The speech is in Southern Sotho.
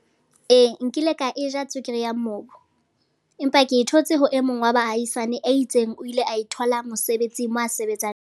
Ee, nkile ka eja tswekere ya mobo. Empa ke thotse ho e mong wa bahaisane a itseng o ile a e thola mosebetsi moo a sebetsang.